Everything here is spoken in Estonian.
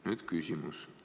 Nüüd aga küsimus.